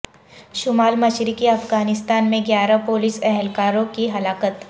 شمال مشرقی افغانستان میں گیارہ پولیس اہکاروں کی ہلاکت